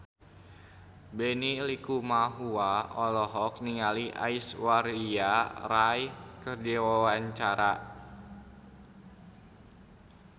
Benny Likumahua olohok ningali Aishwarya Rai keur diwawancara